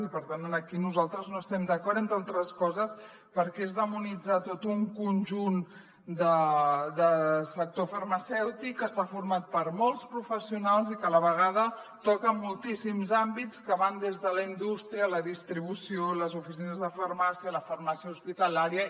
i per tant aquí nosaltres no hi estem d’acord entre altres coses perquè és demonitzar tot un conjunt de sector farmacèutic que està format per molts professionals i que a la vegada toca moltíssims àmbits que van des de la indústria a la distribució les oficines de farmàcia la farmàcia hospitalària